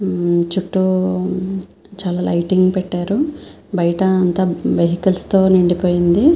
చుట్టూ చాల లిగ్తింగ్ పెట్టారు బయట అంతా వెహికల్స్ తో నిండి పోయి వుంది.